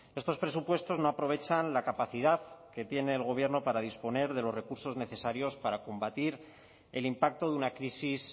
estos presupuestos no aprovechan la capacidad que tiene el gobierno para disponer de los recursos necesarios para combatir el impacto de una crisis